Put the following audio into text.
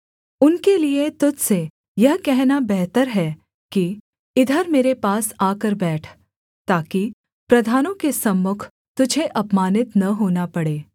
उनके लिए तुझ से यह कहना बेहतर है कि इधर मेरे पास आकर बैठ ताकि प्रधानों के सम्मुख तुझे अपमानित न होना पड़े